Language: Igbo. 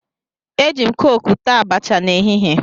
Eji m kooku taa abacha n'ehihie